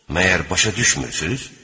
Məgər başa düşmürsüz?